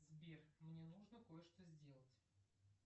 сбер мне нужно кое что сделать